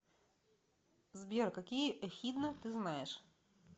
сбер какие эхидна ты знаешь